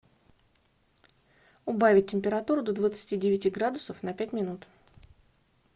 убавить температуру до двадцати девяти градусов на пять минут